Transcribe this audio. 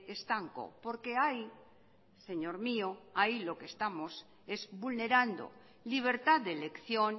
estanco porque ahí señor mío ahí estamos vulnerando libertad de elección